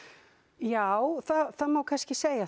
já það má kannski segja